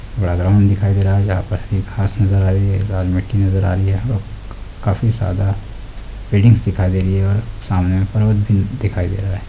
One दिखाई दे रहा है जहां पर घांस नजर आ रही है लाल मिट्टी नजर आ रही है अ काफी ज्यादा बिल्डिंगस दिखाई दे रही है और सामने पर्वत भी दिखाई दे रहा है।